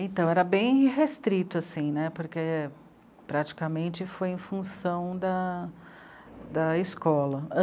Então, era bem restrito, assim né, porque praticamente foi em função da escola.